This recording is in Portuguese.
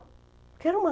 Porque era uma...